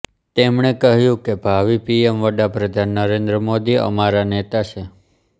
તેમણે કહ્યું કે ભાવિ પીએમ વડાપ્રધાન નરેન્દ્ર મોદી અમારા નેતા છે